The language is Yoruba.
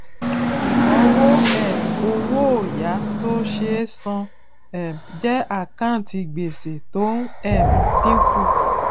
ìnáwó um owó òyà tó ṣe é san um jẹ àkáǹtì gbèsè tó ń um dínkù